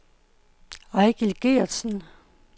Eigil Gertsen